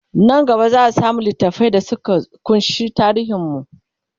Nan gaba zaa samu littafai da Suka kunshi tarihin mu